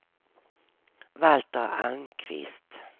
Valter Almqvist